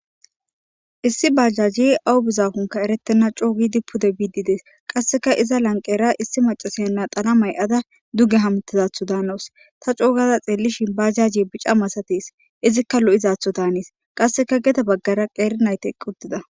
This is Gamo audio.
issi bajajji awu bizafunka erettenna coogidi pude biidides qasseka iza lanqera issi macasenna xalamay ada duge hamtizatho daanos ta coogaza xeelishin bajaji bica masates izikka lo7izatho daaniis qasseka gede baggara qeeri nayte quddida